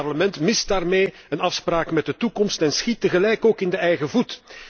Het Parlement mist daarmee een afspraak met de toekomst en schiet tegelijk ook in de eigen voet.